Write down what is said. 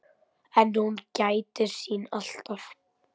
En hún gætir sín alltaf.